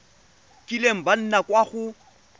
kileng ba nna kwa go